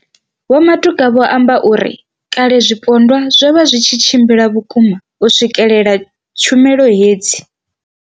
Vho Matuka vho amba uri kale zwipondwa zwo vha zwi tshi tshimbila vhukuma u swikelela tshumelo hedzi.